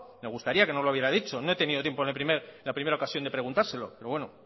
me gustaría que nos lo hubiera dicho no he tenido tiempo en la primera ocasión de preguntárselo pero bueno